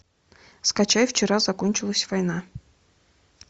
скачай вчера закончилась война